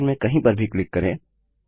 slide में कहीं पर भी क्लिक करें